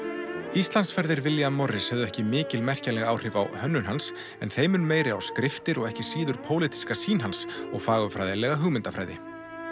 Íslandsferðir William Morris höfðu ekki mikil merkjanleg áhrif á hönnun hans en þeim mun meiri á skriftir og ekki síður pólitíska sýn hans og fagurfræðilega hugmyndafræði